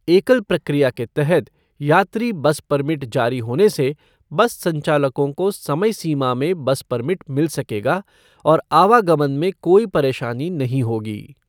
एकल प्रक्रिया के तहत यात्री बस परमिट जारी होने से बस संचालकों को समय सीमा में बस परमिट मिल सकेगा और आवागमन में कोई परेशानी नहीं होगी।